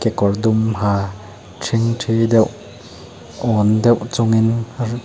kawr dum ha thingthi deuh âwn deuh chungin r --